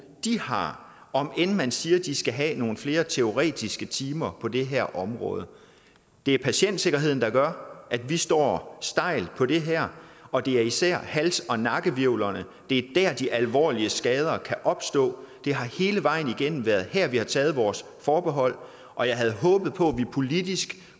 de har om end man siger at de skal have nogle flere teoretiske timer på det her område det er patientsikkerheden der gør at vi står stejlt på det her og det er især i hals og nakkehvirvlerne de alvorlige skader kan opstå det har hele vejen igennem været her vi har taget vores forbehold og jeg havde håbet på at vi politisk